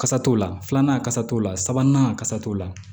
Kasa t'o la filanan kasa t'o la sabanan kasa t'o la